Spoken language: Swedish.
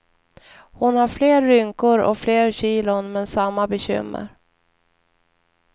Hon har fler rynkor och fler kilon, men samma bekymmer.